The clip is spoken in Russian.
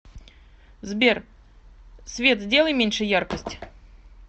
сбер свет сделай меньше яркость